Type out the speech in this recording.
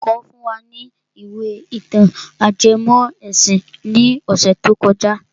Olùkọ́ fún wa ní ìwé ìtàn ajẹmọ́ ẹ̀sìn ní ọ̀sẹ̀ tó kọjá.